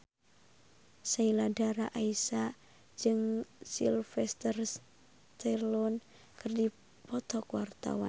Sheila Dara Aisha jeung Sylvester Stallone keur dipoto ku wartawan